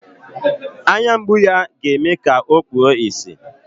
Anya mgbu ya ọ ga-eme ka o kpuo ìsì.